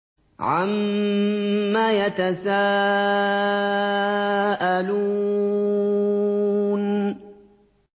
عَمَّ يَتَسَاءَلُونَ